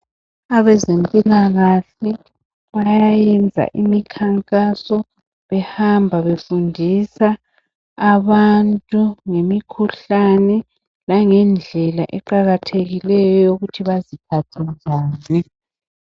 Abezempilakahle bayayenza imikhankaso behamba befundisa abantu ngemikhuhlane langendlela eqakathekileyo eyokuthi baziphathe njani